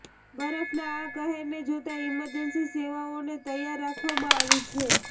બરફના આ કહેરને જોતા ઈમરજન્સી સેવાઓને તૈયાર રાખવામાં આવી છે